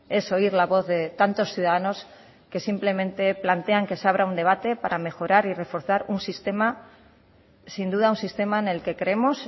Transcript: es oír la voz de tantos ciudadanos que simplemente plantean que se abra un debate para mejorar y reforzar un sistema sin duda un sistema en el que creemos